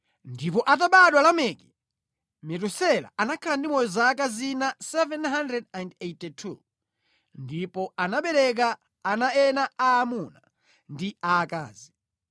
Ndipo atabadwa Lameki, Metusela anakhala ndi moyo zaka zina 782 ndipo anabereka ana ena aamuna ndi aakazi.